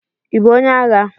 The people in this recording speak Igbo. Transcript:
Ibu onye agha?